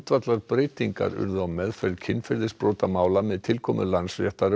urðu á meðferð kynferðisbrotamála með tilkomu Landsréttar um áramótin